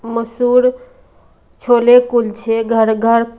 मसूर छोले कुलछे घर घर --